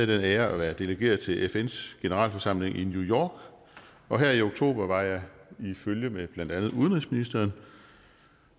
den ære at være delegeret til fns generalforsamling i new york og her i oktober var jeg i følge med blandt andet udenrigsministeren